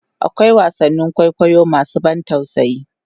akwai wasannin kwaikwayo masu ban tausayi